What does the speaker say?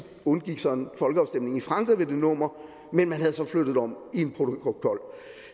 undgik så en folkeafstemning i frankrig ved det nummer men man havde flyttet det om i en protokol